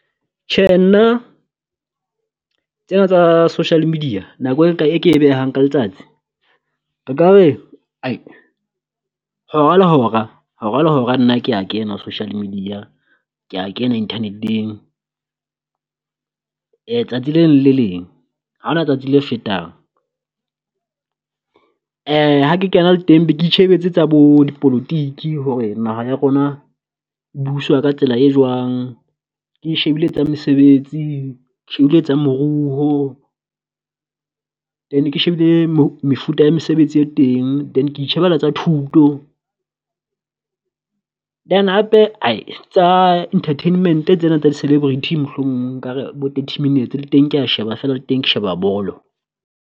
Tjhe nna tsena tsa social media nako e ke behang ka letsatsi re ka re ae hora le hora nna kea kena social media kea kena Internet-eng tsatsi le leng le le leng. Haona tsatsi le fetang ha ke kena le teng be ke itjhebetse tsa bo dipolotiki hore naha ya rona e buswa ka tsela e jwang, ke shebile tsa mesebetsi ke shebile tsa moruho, then ke shebile mefuta ya mesebetsi e teng. Then ke itjheebela tsa thuto then hape ae tsa entertainment tsena tsa di celebrity mohlomong nka re bo thirty minutes, le teng kea sheba feela le teng ke sheba bolo.